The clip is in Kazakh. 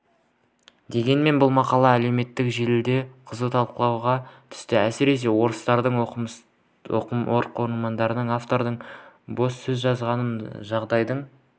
дегенмен бұл мақала әлеуметтік желіде қызу талқыға түсті әсіресе орыстілді оқырмандар автордың бос сөз жазғанын жағдайдың